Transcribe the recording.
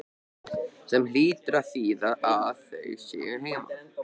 Sem hlýtur að þýða að þau séu heima.